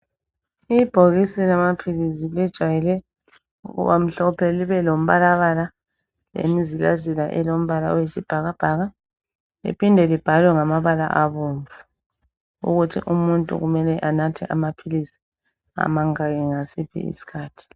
ibhokisi lamaphilisi eliwayele ukubamhlophe libe lombala elemizila zila elombala oyisibhakabhaka liphinde libhalwe ngamabala abomvu ukuthi umuntu kumele anathe amaphilisi amangaki ngasiphi isikhathi